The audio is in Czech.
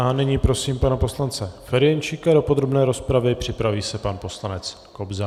A nyní prosím pana poslance Ferjenčíka do podrobné rozpravy, připraví se pan poslanec Kobza.